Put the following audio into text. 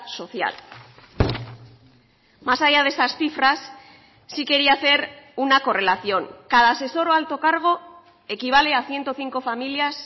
social más allá de esas cifras sí quería hacer una correlación cada asesor o alto cargo equivale a ciento cinco familias